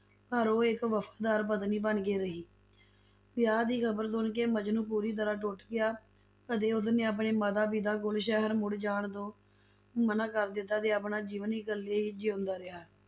ਪਰ ਉਹ ਇੱਕ ਵਫ਼ਾਦਾਰ ਪਤਨੀ ਬਣਕੇ ਰਹੀ, ਵਿਆਹ ਦੀ ਖ਼ਬਰ ਸੁਣ ਕੇ ਮਜਨੂੰ ਪੂਰੀ ਤਰ੍ਹਾਂ ਟੁੱਟ ਗਿਆ ਅਤੇ ਉਸਨੇ ਆਪਣੇ ਮਾਤਾ-ਪਿਤਾ ਕੋਲ ਸ਼ਹਿਰ ਮੁੜ ਜਾਣ ਤੋਂ ਮਨਾ ਕਰ ਦਿੱਤਾ ਤੇ ਆਪਣਾ ਜੀਵਨ ਇਕੱਲੇ ਹੀ ਜਿਉਂਦਾ ਰਿਹਾ।